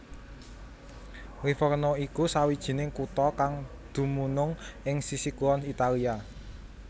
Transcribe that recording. Livorno iku sawijining kutha kang dumunung ing sisih kulon Italia